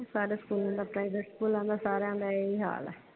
ਸਾਰੇ ਸਕੂਲਾ ਦਾ ਪ੍ਰਾਈਵੇਟ ਸਕੂਲਾਂ ਦਾ ਸਾਰਿਆਂ ਦਾ ਹੀ ਹਾਲ ਆ।